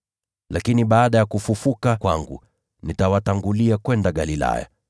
Lakini baada ya kufufuka kwangu, nitawatangulia kwenda Galilaya.”